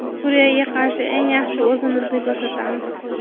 Suriyaga qarshi eng yaxshi o‘yinimizni ko‘rsatamiz.